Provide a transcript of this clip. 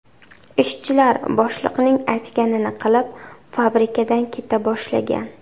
Ishchilar boshliqning aytganini qilib, fabrikadan keta boshlagan.